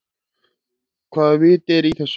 Hvaða vit er í þessu.